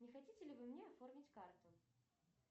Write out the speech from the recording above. не хотите ли вы мне оформить карту